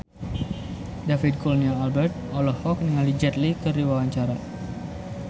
David Kurnia Albert olohok ningali Jet Li keur diwawancara